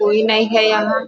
कोई नहीं है यहाँ।